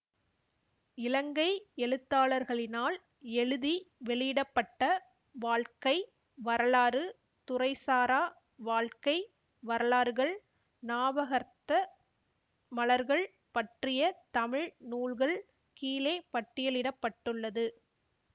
இலங்கை எழுத்தாளர்களினால் எழுதி வெளியிட பட்ட வாழ்க்கை வரலாறு துறைசாரா வாழ்க்கை வரலாறுகள் ஞாபகர்த்த மலர்கள் பற்றிய தமிழ் நூல்கள் கீழே பட்டியலிட பட்டுள்ளது